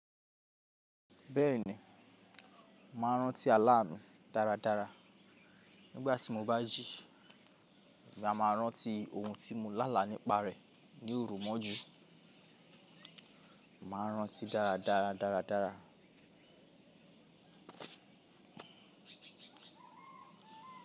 Bẹ́ẹ̀ni, mo má n rántí àlá mi dáradára nígbà tí mo bá jí. Èmi a máa rántí ohun tí mo lálá nípa rẹ̀ ní òrò mọ́jú. Màá rántí dáradára.